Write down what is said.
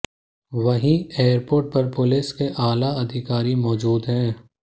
वहीं एयरपोर्ट पर पुलिस के आला अधिकारी मौजूद हैं